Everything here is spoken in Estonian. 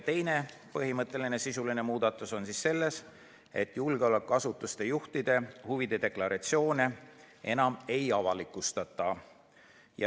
Teine sisuline muudatus on see, et julgeolekuasutuste juhtide huvide deklaratsioone enam ei avalikustata.